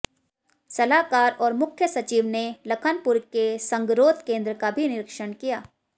सलाहकार और मुख्य सचिव ने लखनपुर के संगरोध केंद्र का भी निरीक्षण किया